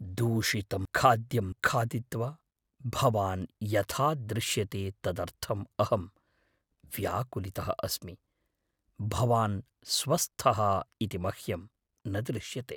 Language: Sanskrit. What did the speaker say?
दूषितं खाद्यं खादित्वा भवान् यथा दृश्यते तदर्थम् अहं व्याकुलितः अस्मि। भवान् स्वस्थः इति मह्यं न दृश्यते।